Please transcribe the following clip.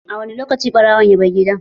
A wani lokaci ɓarawon ya bar gidan?